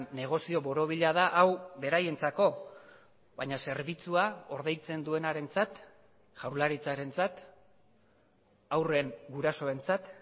negozio borobila da hau beraientzako baina zerbitzua ordaintzen duenarentzat jaurlaritzarentzat haurren gurasoentzat